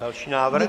Další návrh.